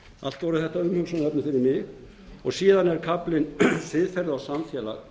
allt voru þetta umhugsunarefni fyrir mig síðan er kaflinn siðferði og samfélag